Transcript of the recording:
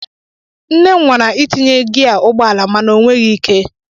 Nne m nwara itinye gia ụgbọala mana o nweghị ike.